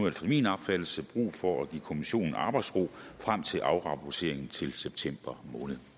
efter min opfattelse brug for at give kommissionen arbejdsro frem til afrapporteringen til september